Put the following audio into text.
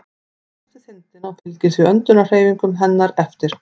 Hún er föst við þindina og fylgir því öndunarhreyfingum hennar eftir.